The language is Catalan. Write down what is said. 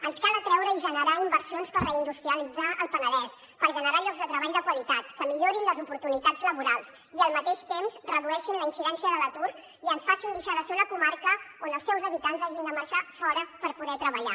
ens cal atreure i generar inversions per reindustrialitzar el penedès per generar llocs de treball de qualitat que millorin les oportunitats laborals i al mateix temps redueixin la incidència de l’atur i ens facin deixar de ser una comarca on els seus habitants hagin de marxar fora per poder treballar